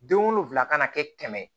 Den wolonwula kana kɛ kɛmɛ ye